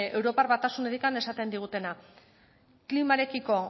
europar batasunetik esaten digutena klimarekiko